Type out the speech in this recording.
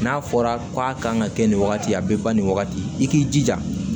N'a fɔra k'a kan ka kɛ nin wagati ye a bɛ ban nin wagati i k'i jija